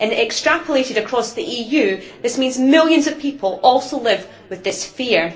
Extrapolated across the EU this means millions of people also live with this fear.